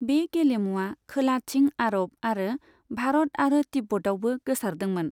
बे गेलेमुआ खोलाथिं अरब आरो भारत आरो तिब्बतआवबो गोसारदोंमोन।